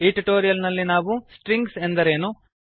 ಈ ಟ್ಯುಟೋರಿಯಲ್ ನಲ್ಲಿ ನಾವು ಸ್ಟ್ರಿಂಗ್ ಎಂದರೇನು